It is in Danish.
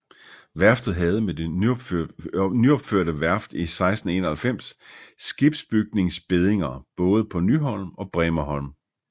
Værftet havde med det nyopførte værft i 1691 skibsbygningsbeddinger både på Nyholm og Bremerholm